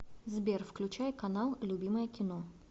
сбер включай канал любимое кино